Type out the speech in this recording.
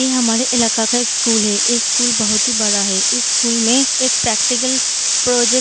इ हमारे इलाका का एक स्कूल है ऐ स्कूल बहुत ही बड़ा है इ स्कूल में एक प्रैक्टिकल प्रोजेक्ट --